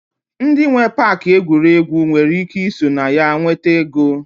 Ndi nwee Pááki egwuregwu nwere ike ị so na ya nweta ego